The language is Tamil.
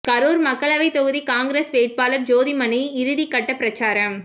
கரூர் மக்களவை தொகுதி காங்கிரஸ் வேட்பாளர் ஜோதிமணி இறுதி கட்ட பிரசாரம்